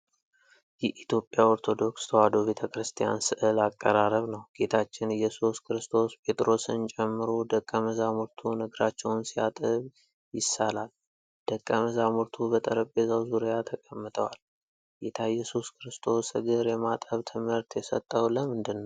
የኢትዮጵያ ኦርቶዶክስ ተዋህዶ ቤተ ክርስቲያን ሥዕል አቀራረብ ነው። ጌታችን ኢየሱስ ክርስቶስ ጴጥሮስን ጨምሮ ደቀ መዛሙርቱን እግራቸውን ሲያጥብ ይሳላል። ደቀ መዛሙርቱ በጠረጴዛ ዙሪያ ተቀምጠዋል። ጌታ ኢየሱስ ክርስቶስ እግር የማጠብ ትምህርት የሰጠው ለምንድን ነው?